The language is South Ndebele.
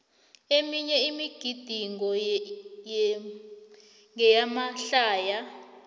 eminye imigidingo ngeyamahlaya